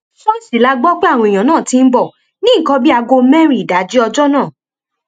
ṣọọṣì la gbọ pé àwọn èèyàn náà ti ń bọ ní nǹkan bíi aago mẹrin ìdájí ọjọ náà